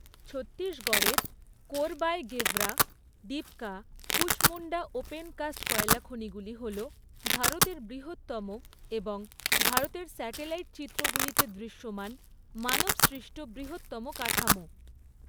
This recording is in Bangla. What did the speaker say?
ছত্তিশগড়ের কোরবায় গেভরা, ডিপকা, কুসমুন্ডা ওপেন কাস্ট কয়লা খনিগুলি হল ভারতের বৃহত্তম এবং ভারতের স্যাটেলাইট চিত্রগুলিতে দৃশ্যমান মানবসৃষ্ট বৃহত্তম কাঠামো৷